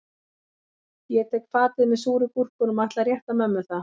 Ég tek fatið með súru gúrkunum og ætla að rétta mömmu það